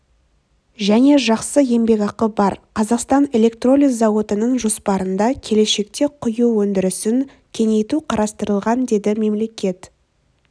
және жақсы еңбекақы бар қазақстан электролиз зауытының жоспарында келешекте құю өндірісін кеңейту қарастырылған деді мемлекет